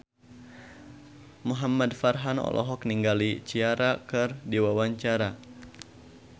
Muhamad Farhan olohok ningali Ciara keur diwawancara